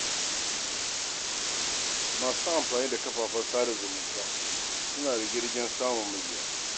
Masu amfani da kafafen sada zumunta suna rige-rigen samun mabiya.